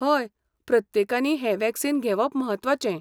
हय प्रत्येकानी हें वॅक्सिन घेवप म्हत्वाचें.